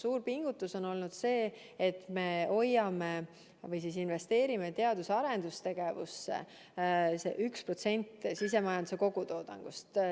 Suur pingutus on olnud see, et me investeerimine teadus- ja arendustegevusse 1% sisemajanduse kogutoodangust.